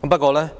不過，